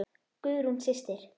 Guðrún systir.